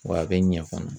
Wa a bɛ ɲɛ fana